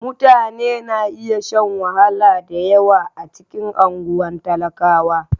Mutane na iya shan wahala da yawa a cikin unguwar talaka.